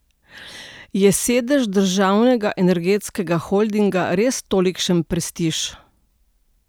Je sedež državnega energetskega holdinga res tolikšen prestiž?